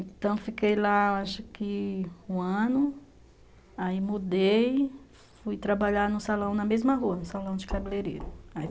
Então, fiquei lá acho que um ano, aí mudei, fui trabalhar no salão na mesma rua, no salão de cabeleireiro.